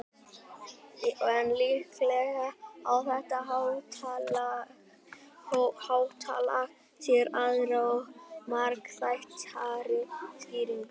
en líklega á þetta háttalag sér aðra og margþættari skýringu